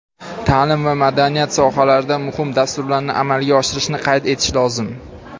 ta’lim va madaniyat sohalarida muhim dasturlarni amalga oshirishni qayd etish lozim.